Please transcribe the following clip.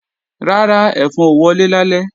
Rárá, ẹ̀fọn ò wọlé lálẹ́